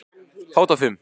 Fát og fum